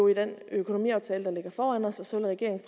i den økonomiaftale der ligger foran os og så vil regeringen